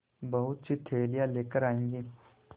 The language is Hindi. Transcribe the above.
बहुतसी थैलियाँ लेकर आएँगे